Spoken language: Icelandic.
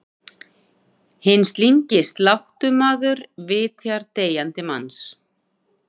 Hinn slyngi sláttumaður vitjar deyjandi manns.